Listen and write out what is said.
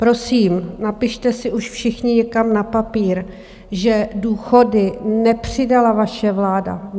Prosím, napište si už všichni někam na papír, že důchody nepřidala vaše vláda.